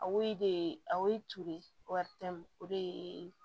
A ye de a ye toli o de ye